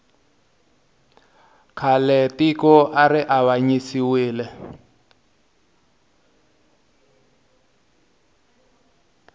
khale tiko ari avanyisiwile